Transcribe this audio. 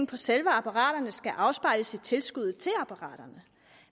på selve apparaterne skal afspejles i tilskuddet til apparaterne